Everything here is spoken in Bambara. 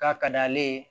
K'a ka d'ale ye